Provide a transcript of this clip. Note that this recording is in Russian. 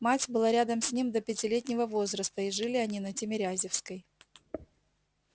мать была рядом с ним до пятилетнего возраста и жили они на тимирязевской